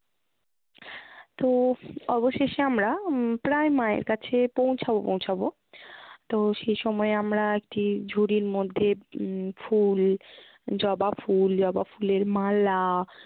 তো অবশেষে আমরা উম প্রায় মায়ের কাছে পৌঁছাবো পৌঁছাবো। তো সে সময় আমরা একটি ঝুড়ির মধ্যে উম ফুল জবা ফুল, জবা ফুলের মালা,